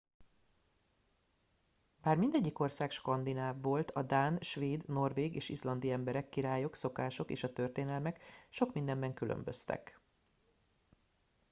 bár mindegyik ország skandináv volt a dán svéd norvég és izlandi emberek királyok szokások és történelmek sok mindenben különböztek